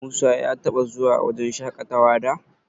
Musa ya taɓa zuwa wajen shaƙatawa da?